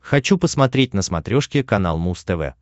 хочу посмотреть на смотрешке канал муз тв